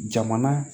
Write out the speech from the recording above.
Jamana